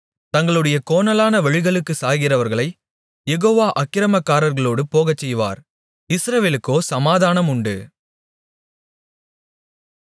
தங்களுடைய கோணலான வழிகளுக்குச் சாய்கிறவர்களைக் யெகோவா அக்கிரமக்காரர்களோடு போகச்செய்வார் இஸ்ரவேலுக்கோ சமாதானம் உண்டு